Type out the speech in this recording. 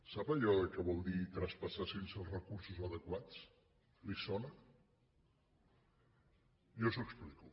sap allò que vol dir traspassar sense els recursos adequats li sona jo li ho explico